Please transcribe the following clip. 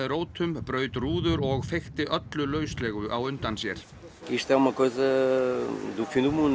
rótum braut rúður og öllu lauslegu á undan sér